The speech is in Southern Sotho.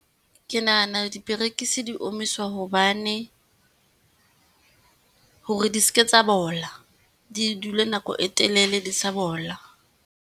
Ke nahana diperekisi di omiswa hobane, hore di seke tsa bola, di dule nako e telele di sa bola.